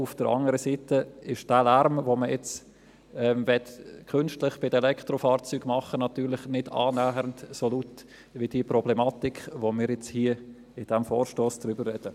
Auf der anderen Seite ist der Lärm, den man jetzt bei den Elektrofahrzeugen künstlich machen möchte, natürlich nicht annähernd so laut, wie die Problematik, über die wir jetzt hier bei diesem Vorstoss sprechen.